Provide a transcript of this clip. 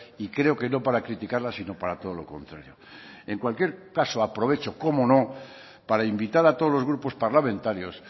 y creo que no para criticarla sino para todo lo contrario en cualquier caso aprovecho cómo no para invitar a todos los grupos parlamentarios